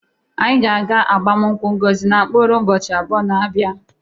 Anyị ga-aga agbamụnkwụ Ngozi na mkpụrụ ụbọchi abụọ na-abịa abịa.